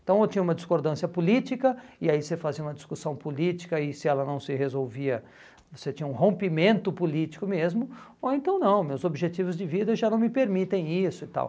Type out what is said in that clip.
Então eu tinha uma discordância política, e aí você fazia uma discussão política, e se ela não se resolvia, você tinha um rompimento político mesmo, ou então não, meus objetivos de vida já não me permitem isso e tal.